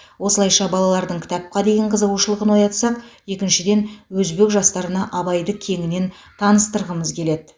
осылайша балалардың кітапқа деген қызығушылығын оятсақ екіншіден өзбек жастарына абайды кеңінен таныстырғымыз келеді